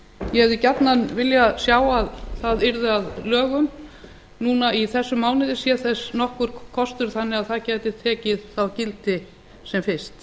ég hefði gjarnan viljað sjá að það yrði að lögum núna í þessum mánuði sé þess nokkur kostur þannig að það gæti tekið þá gildi sem fyrst